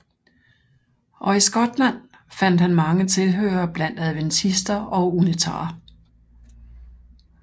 Og i Skotland fandt han mange tilhørere blandt adventister og unitarer